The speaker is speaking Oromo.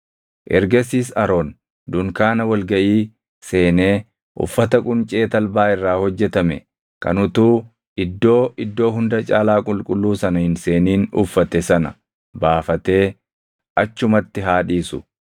“Ergasiis Aroon dunkaana wal gaʼii seenee uffata quncee talbaa irraa hojjetame kan utuu Iddoo Iddoo Hunda Caalaa Qulqulluu sana hin seenin uffate sana baafatee achumatti haa dhiisu.